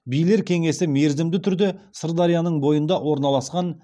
билер кеңесі мерзімді түрде сырдарияның бойында орналасқан